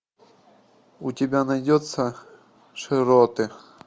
у тебя найдется широты